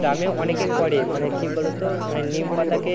গ্রামে অনেকে করে মানে কি বলো তো মানে নীল পাতাকে